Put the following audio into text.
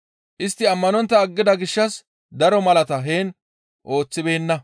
Istti ammanontta aggida gishshas daro malaatata heen ooththibeenna.